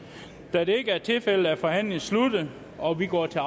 da det ikke er tilfældet er forhandlingen sluttet og vi går til